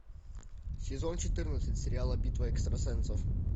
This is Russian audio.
сезон четырнадцать сериала битва экстрасенсов